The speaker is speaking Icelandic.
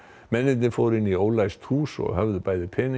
mennirnir fóru inn í ólæst hús og höfðu bæði peninga